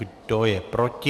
Kdo je proti?